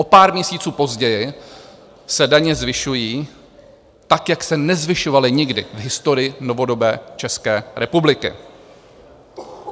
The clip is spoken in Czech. O pár měsíců později se daně zvyšují tak, jak se nezvyšovaly nikdy v historii novodobé České republiky.